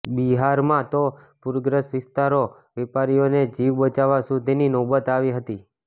બિહારમાં તો પૂરગ્રસ્ત વિસ્તારોમાં વેપારીઓને જીવ બચાવવા સુધીની નોબત આવી હતી